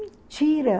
Mentira!